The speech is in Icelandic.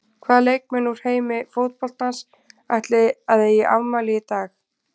Hvaða leikmenn úr heimi fótboltans ætli að eigi afmæli í dag?